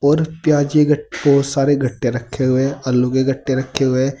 और प्याज के बहुत सारे गट्टे रखे हुए हैं। आलू के गट्टे रखे हुए हैं।